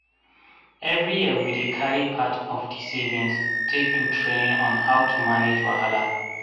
everi year we dey carry part of di savings take do training on on how to manage wahala.